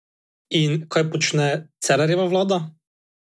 In kaj počne Cerarjeva vlada?